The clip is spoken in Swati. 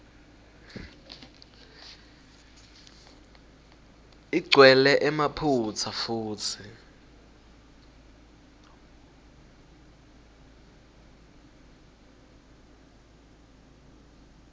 igcwele emaphutsa futsi